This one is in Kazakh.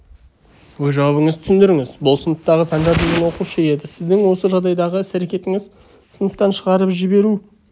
өз жауабыңызды түсіндіріңіз бұл сыныптағы санжар деген оқушы еді сіздің осы жағдайдағы іс-әрекетіңіз сыныптан шығарып жіберу